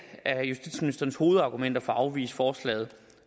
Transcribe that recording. justitsministerens hovedargumenter for at afvise forslaget